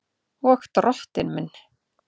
Og Drottinn minn!